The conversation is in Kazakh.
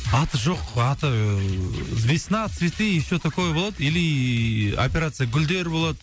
аты жоқ аты ыыы весна цветы все такое болады или операция гүлдер болады